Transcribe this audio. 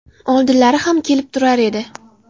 Oldinlari ham kelib turar edi.